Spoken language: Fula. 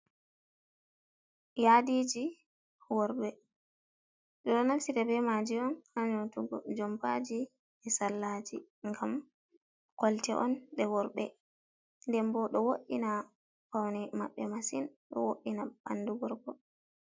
Yadiji worɓe ɗo naftire be maje on ha nyotugo jompaji be sallaji ngam kolte on ɗe worɓe, nden bo ɗo wodina paune maɓɓe masin do woddina bandu gorko.